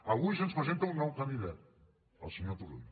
avui se’ns presenta un nou candidat el senyor turull